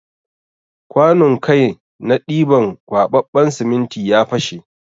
Kwanun kai na ɗiban kwaɓaɓɓen siminti ya fashe.